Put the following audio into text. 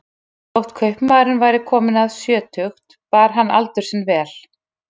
Þótt kaupmaðurinn væri kominn um sjötugt bar hann aldur sinn vel.